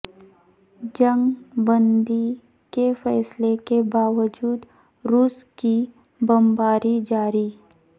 جنگ بندی کے فیصلہ کے باوجود روس کی بمباری جاری